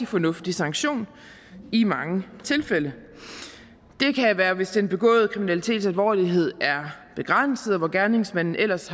fornuftig sanktion i mange tilfælde det kan være hvis den begåede kriminalitets alvorlighed er begrænset og hvis gerningsmanden ellers